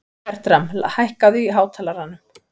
Bertram, hækkaðu í hátalaranum.